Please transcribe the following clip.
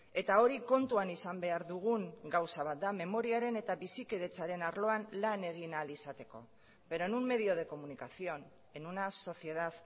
eta hori kontuan izan behar dugun gauza bat da memoriaren eta bizikidetzaren arloan lan egin ahal izateko pero en un medio de comunicación en una sociedad